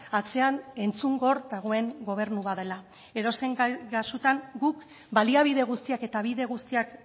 atzean entzungor dagoen gobernu bat dela edozein kasutan guk baliabide guztiak eta bide guztiak